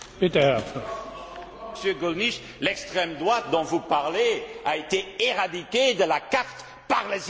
Monsieur Gollnish, l'extrême droite dont vous parlez a été éradiquée de la carte par les électeurs en Belgique.